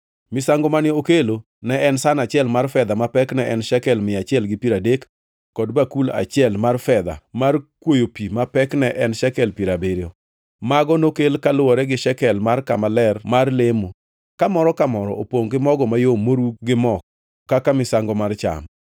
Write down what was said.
Misango mane okelo ne en san achiel mar fedha ma pekne ne en shekel mia achiel gi piero adek, kod bakul achiel mar fedha mar kwoyo pi ma pekne ne en shekel piero abiriyo. Mago nokel kaluwore gi shekel mar kama ler mar lemo, ka moro ka moro opongʼ gi mogo mayom moru gi mo kaka misango mar cham;